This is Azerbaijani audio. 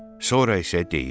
Sonra isə deyir: